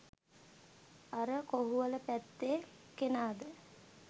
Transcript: අර කොහුවල පැත්තෙ කෙනාද